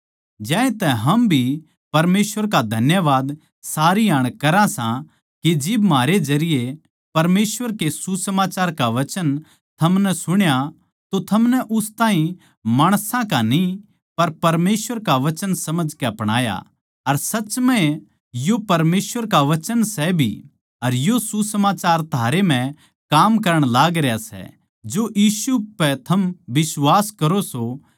ज्यांतै हम भी परमेसवर का धन्यवाद सारी हाण करा सां के जिब म्हारै जरिये परमेसवर के सुसमाचार का वचन थमनै सुण्या तो थमनै उस ताहीं माणसां का न्ही पर परमेसवर का वचन समझकै अपणाया अर सच म्ह यो परमेसवर का वचन सै भी अर यो सुसमाचार थारे म्ह काम करण लागरया सै जो यीशु पै थम बिश्वास करो सो